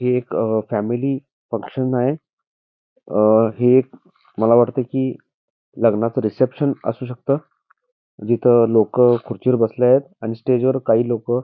हे एक family function आहे हे एक मला वाटत कि लग्नाचं रिसेप्शन असू शकत जिथ लोक खुर्चीवर बसले आहेत आणि स्टेज वर काही लोक --